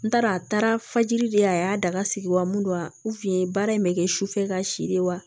N taara a taara fajiri de a y'a da ka sigi wa mun don wa baara in bɛ kɛ sufɛ ka si de wa